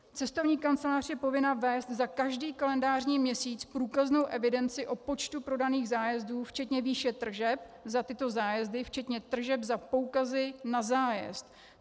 Cestovní kancelář je povinna vést za každý kalendářní měsíc průkaznou evidenci o počtu prodaných zájezdů včetně výše tržeb za tyto zájezdy včetně tržeb za poukazy na zájezd.